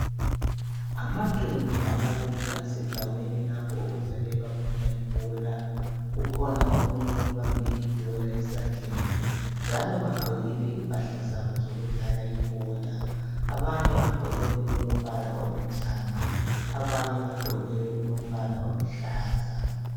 Amaqembu amabili asendaweni lapho okudlalelwe khona ibhola. Kukhona omunye obambe ibhola esandleni, njalo bagqokile impahla zabo zokudlala ibhola. Abanye bagqoke okulombala olithanga, abanye bagqoke okulombala oluhlaza.